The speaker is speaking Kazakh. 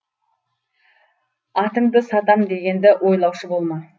атыңды сатам дегенді ойлаушы болма